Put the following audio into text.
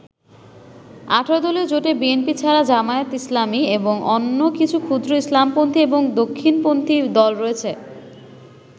১৮ দলীয় জোটে বিএনপি ছাড়া জামায়াতে ইসলামী এবং অন্য কিছু ক্ষুদ্র ইসলামপন্থী এবং দক্ষিণপন্থী দল রয়েছে।